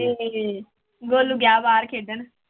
ਹਮ ਗੋਲੂ ਗਿਆ ਬਾਹਰ ਖੇਡਣ।